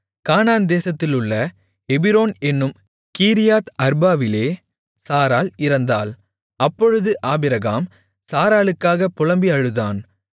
கானான் தேசத்திலுள்ள எபிரோன் என்னும் கீரியாத் அர்பாவிலே சாராள் இறந்தாள் அப்பொழுது ஆபிரகாம் சாராளுக்காகப் புலம்பி அழுதான்